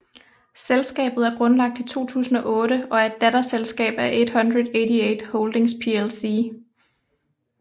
Selskabet er grundlagt i 2008 og er et datterselskab af 888 Holdings plc